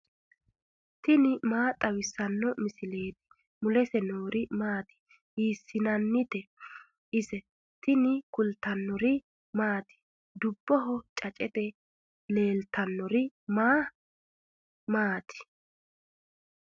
tini maa xawissanno misileeti ? mulese noori maati ? hiissinannite ise ? tini kultannori maati? Dubboho caceette leelannori maa maatti?